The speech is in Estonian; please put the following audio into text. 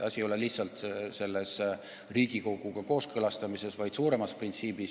Asi ei ole lihtsalt Riigikoguga kooskõlastamises, vaid suuremas printsiibis.